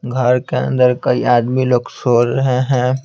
घर के अंदर कई आदमी लोग सो रहे हैं।